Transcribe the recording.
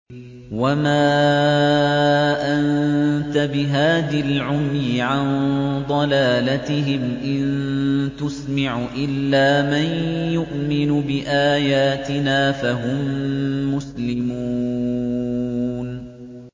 وَمَا أَنتَ بِهَادِي الْعُمْيِ عَن ضَلَالَتِهِمْ ۖ إِن تُسْمِعُ إِلَّا مَن يُؤْمِنُ بِآيَاتِنَا فَهُم مُّسْلِمُونَ